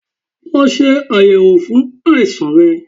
Lọ se ayẹwo fun aisan rẹ